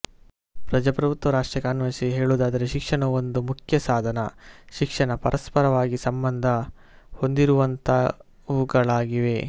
ಪ್ರಜ್ರಾಭುತ್ವ ರಾಷ್ಟಕ್ಕೆ ಅನ್ವಯಿಸಿ ಹೇಳುವದಾದರೆ ಶಿಕ್ಷಣವು ಒಂದು ಮುಖ್ಯ ಸಾಧಾನ ಶಿಕ್ಷಣ ಪರಸ್ಪರವಾಗಿ ಸಂಬಂಧ ಹೊಂದಿರುವಂತವುಗಳಾಗಿವೆ